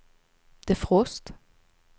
defrost